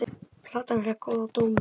Platan fékk góða dóma.